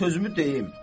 Qoy sözümü deyim.